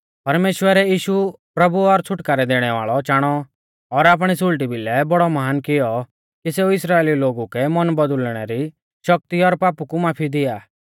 परमेश्‍वरै यीशु प्रभु और छ़ुटकारै दैणै वाल़ौ चाणौ और आपणी सुल़टी भिलै बौड़ौ महान कियौ कि सेऊ इस्राइलिऊ लोगु कै मन बौदुल़णै री शक्ति और पापु री माफी दिया